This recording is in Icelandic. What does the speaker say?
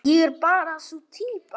Ég er bara sú týpa.